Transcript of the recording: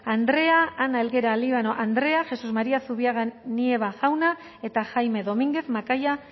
andrea ana helguera líbano andrea jesás maría zubiaga nieva jauna eta jaime dominguez macaya